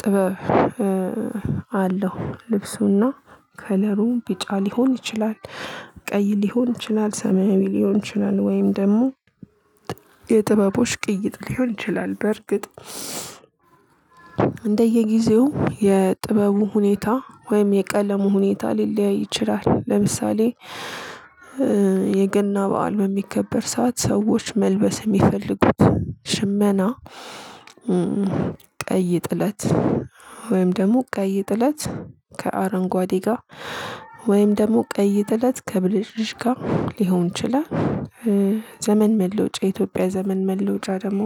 ጥበብ አለው። ልብሱና ከለሩ ቢጫ ሊሆን ይችላል። ቀይ ሊሆን ይችላል ሰማያዊ ሊሆን ይችላል ወይም ደግሞ የጥበቦች ቅይጥ ሊሆን ይችላል። በርግጥ እንደየጊዜው የጥበቡ ሁኔታ ወይም የቀለሙ ሁኔታ ሊለያይ ይችላል። ለምሳሌ የገና በዓል በሚከበር ሰዓት ሰዎች መልበስ የሚፈልጉት ሽመና። ቀን ጥለት ወይም ደግሞ ቀይ ጥለት ከአረንጓዴ ጋ ወይም ደግሞ ቀይ ጥለት ከብልጭልጭ ጋ ሊሆን ይችላል። ዘመን መለወጫ የኢትዮጵያ ዘመን መለወጫ ደግሞ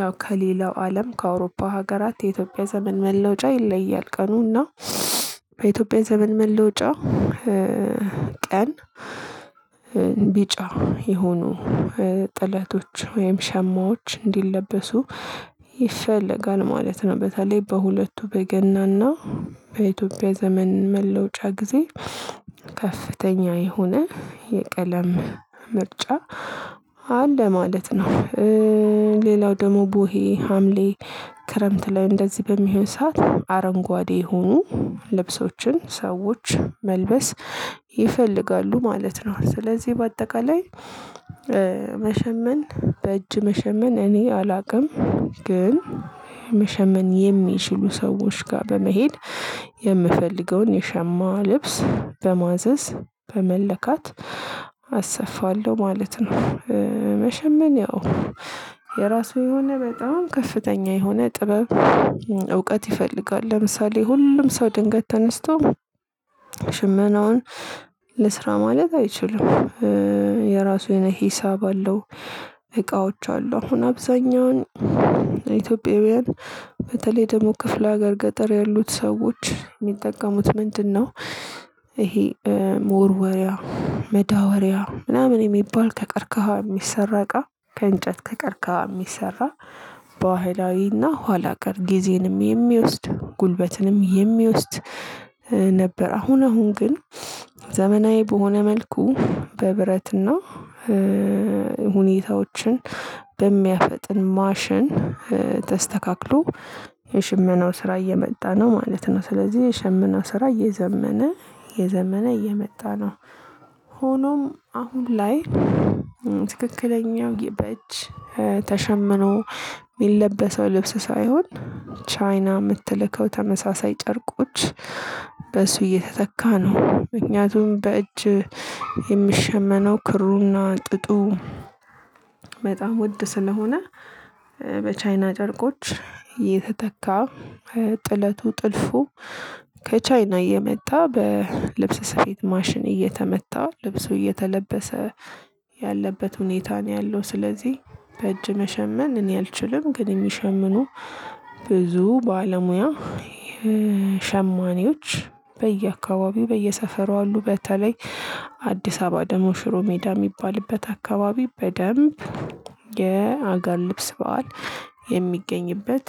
ያው ከሌላው አለም ከአውሮፓ ሀገራት የኢትዮጵያ ዘመን መለውጫ ይለያል። ቀኑ እና በኢትዮጵያ ዘመን መለወጫ ቀን ቢጫ የሆኑ ጥለቶች ወይም ሸማዎች እንዲለበሱ ይፈለጋል ማለት ነው። በተለይ በሁለቱ በገናና በኢትዮጵያ ዘመን መለውጫ ጊዜ ከፍተኛ የሆነ የቀለም ምርጫ አለ ማለት ነው። ሌላው ደግሞ ቦሄ ሀምሌ ክረምት ላይ እንደዚህ በሚሆን ሰዓት አረንጓዴ የሆኑ ልብሶችን ሰዎች መልበስ ይፈልጋሉ ማለት ነው። ስለዚህ ባጠቃላይ መሸመን በእጅ መሸመን እኔ አላቅም። ግን መሸመን የሚችሉ ሰዎች ጋር በመሄድ የምፈልገውን የሸማ ልብስ በማዘዝ በመለካት አሰፋለሁ ማለት ነው። መሸመን ያው የራሱ የሆነ በጣም ከፍተኛ የሆነ ጥበብ እውቀት ይፈልጋል። ለምሳሌ ሁሉም ሰው ድንገት ተነስቶ ሽመናውን ልስራ ማለት አይችልም። የራሱ የሆነ ሂሳብ አለው። እቃዎች አሉ አሁን አብዛኛውን ኢትዮጵያውያን በተለይ ደግሞ ክፍለ ሀገር ገጠር ያሉት ሰዎች የሚጠቀሙት ምንድነው? ይሄ መወርወሪያ መዳወሪያ ምናምን የሚባል ከቀርከሃ የሚሰራ እቃ ከእንጨት ከቀርከሃ የሚሰራ ባህላዊና ኋላ ቀር ጊዜንም የሚወስድ ጉልበትንም የሚወስድ ነበር። አሁን አሁን ግን ዘመናዊ በሆነ መልኩ በብረትና ሁኔታዎችን በሚያፈጥን ማሸን ተስተካክሎ የሽመናው ስራ እየመጣ ነው ማለት ነው። ስለዚህ የሸመናው ስራ እየዘመነ እየዘመነ እየመጣ ነው። ሆኖም አሁን ላይ ትክክለኛው የበእጅ ተሸምኖ የሚለበሰው ልብስ ሳይሆን ቻይና የምትልከው ተመሳሳይ ጨርቆች በእሱ እየተተካ ነው። ምክንያቱም በእጅ የሚሸመነው ክሩና ጥጡ በጣም ውድ ስለሆነ። በቻይና ጨርቆች እየተተካ ጥለቱ ጥልፉ ከቻይና እየመጣ በልብስ ስፌት ማሽን እየተመታ ልብሱ እየተለበሰ ያለበት ሁኔታ ነው ያለው። ስለዚህ በእጅ መሸመን እኔ አልችልም። ግን የሚሸምኑ ብዙ ባለሙያ ሸማኔዎች በየአካባቢው በየሰፈሩ አሉ። በተለይ አዲስ አበባ ደግሞ ሽሮ ሜዳ የሚባልበት አካባቢ በደንብ የአገር ልብስ በዓል የሚገኝበት።